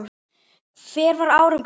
Hver var árangur þinn?